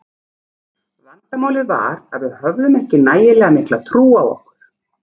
Vandamálið var að við höfðum ekki nægilega mikla trú á okkur.